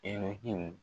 Elɛkiw